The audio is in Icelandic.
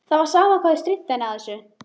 Það var sama hvað þau stríddu henni á þessu.